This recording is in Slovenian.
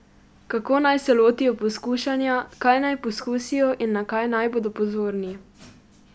Kako naj se lotijo pokušanja, kaj naj poskusijo in na kaj naj bodo pozorni?